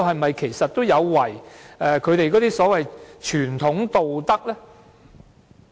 這其實是否也有違他們的所謂"傳統道德"呢？